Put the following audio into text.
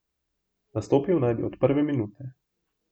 Nastopil naj bi od prve minute.